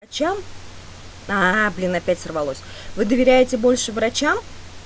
врачам блин опять сорвалось вы доверяете больше врачам